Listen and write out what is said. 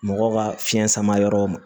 Mɔgɔw ka fiɲɛ sama yɔrɔ ma